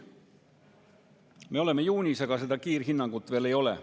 Me oleme juunis, aga seda kiirhinnangut veel ei ole.